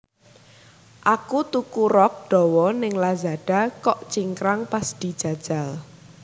Aku tuku rok dowo ning Lazada kok cingkrang pas dijajal